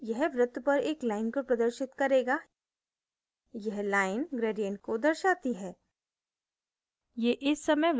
यह वृत्त पर एक line को प्रदर्शित करेगा यह line gradient को दर्शाती है